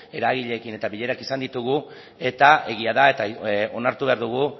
eragileekin eta bilerak izan ditugu eta egia da eta onartu behar dugu